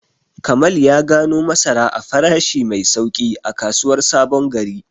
Kamal ya gano masara a farashi mai sauƙi a kasuwar Sabon Gari.